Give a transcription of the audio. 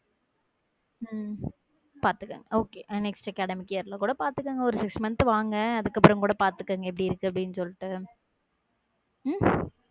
உம் பாத்துங்க okay next academic year ல கூட பாத்துக்கோங்க ஒரு six months வாங்க அதுக்கப்புறம் கூட பாத்துக்கோங்க எப்படி இருக்கு அப்படின்னு சொல்லிட்டு உம்